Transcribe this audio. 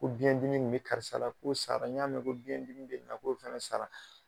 Ko biyɛndimi kun bɛ karisa la k'o sara n y'a mɛn ko biyɛndimi nin na k'o fɛnɛ sara.